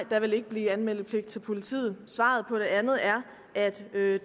der vil ikke blive anmeldepligt til politiet svaret på det andet er at det